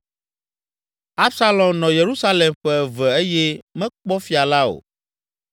Absalom nɔ Yerusalem ƒe eve eye mekpɔ fia la o.